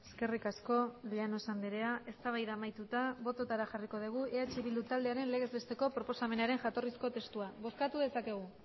eskerrik asko llanos andrea eztabaida amaituta botoetara jarriko dugu eh bildu taldearen legez besteko proposamenaren jatorrizko testua bozkatu dezakegu